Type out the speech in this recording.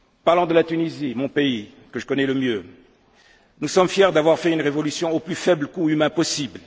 En Tunisie, mon pays, celui que je connais le mieux, nous sommes fiers d'avoir fait une révolution au plus faible coût humain possible.